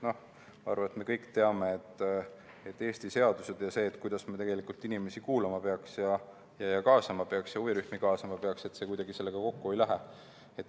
Ma arvan, et me kõik teame, et Eesti seadused ja see, kuidas me tegelikult inimesi kuulama ja kaasama ja huvirühmi kaasama peaks, kuidagi sellega kokku ei lähe.